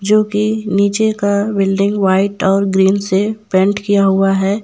जोकि नीचे का बिल्डिंग व्हाइट और ग्रीन से पेंट किया हुआ है।